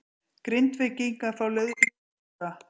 Grindvíkingar fá liðsauka